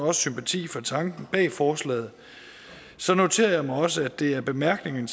har sympati for tanken bag forslaget så noterer jeg mig også at det af bemærkningerne